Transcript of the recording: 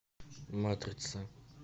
матрица